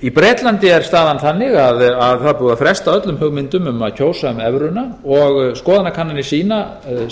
í bretlandi er staðan þannig að það er búið að fresta öllum hugmyndum um að kjósa um evruna og skoðanakannanir sýna